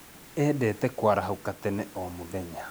Endete kũarahũka tene o mũthenya